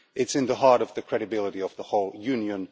It is at the heart of the credibility of the whole Union.